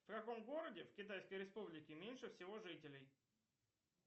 в каком городе в китайской республике меньше всего жителей